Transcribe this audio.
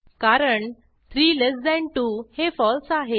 कारण 32 हे फळसे आहे